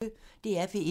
DR P1